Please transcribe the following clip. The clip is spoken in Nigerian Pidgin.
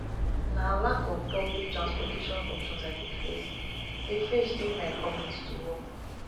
na lack of public transportation options i dey face dey face during my commute to work